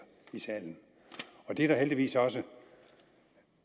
i salen og det er der heldigvis også